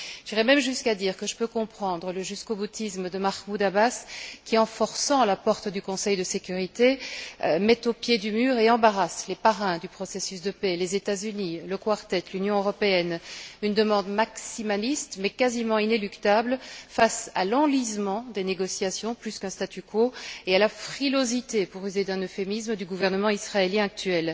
J'irai même jusqu'à dire que je peux comprendre le jusqu'auboutisme de Mahmoud Abbas qui, en forçant la porte du Conseil de sécurité, met au pied du mur et embarrasse les parrains du processus de paix les États Unis, le Quartet et l'Union européenne, avec une demande maximaliste mais quasiment inéluctable face à l'enlisement des négociations, plutôt qu'à un statu quo, et à la frilosité pour user d'un euphémisme du gouvernement israélien actuel.